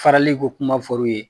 Farali ko kuma fɔr'u ye